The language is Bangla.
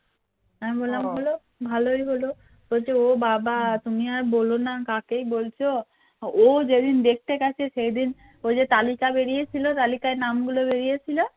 ও যেদিন দেখতে গেছে সেদিন ওই যে তালিকা বেরিয়েছিল তালিকায় নাম গুলো বেরিয়ে ছিল